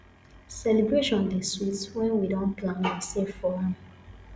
celebration dey sweet when we don plan and save for am